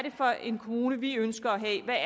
for en kommune de ønsker at have